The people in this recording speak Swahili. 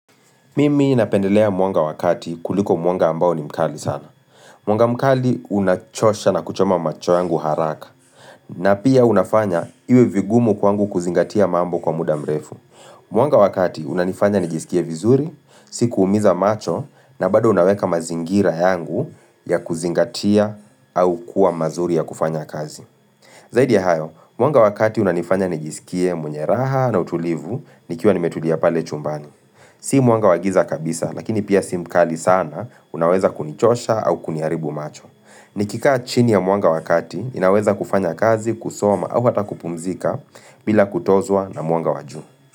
Mimi napendelea mwanga wa kati kuliko mwanga ambao ni mkali sana. Mwanga mkali unachosha na kuchoma macho yangu haraka. Na pia unafanya, iwe vigumu kwangu kuzingatia mambo kwa muda mrefu. Mwanga wa kati unanifanya nijisikie vizuri, si kuumiza macho na bado unaweka mazingira yangu ya kuzingatia au kuwa mazuri ya kufanya kazi. Zaidi ya hayo, mwanga wa kati unanifanya nijisikie mwenye raha na utulivu, nikiwa nimetulia pale chumbani. Si mwanga wagiza kabisa, lakini pia si mkali sana, unaweza kunichosha au kuniharibu macho. Nikikaa chini ya mwanga wa kati, inaweza kufanya kazi, kusoma au hata kupumzika bila kutozwa na mwanga wa juu.